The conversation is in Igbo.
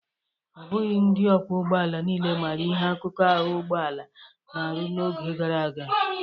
Ọ bụghị ndị ọkwọ ụgbọala niile maara ihe akụkụ ahụ ụgbọalaa na-arụ n'oge gara aga.